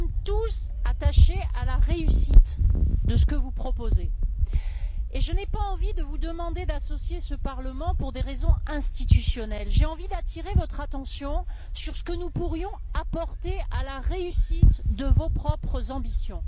Nous sommes tous attachés à la réussite de ce que vous proposez et je n'ai pas envie de vous demander d'associer ce Parlement pour des raisons institutionnelles. J'ai envie d'attirer votre attention sur ce que nous pourrions apporter à la réussite de vos propres ambitions.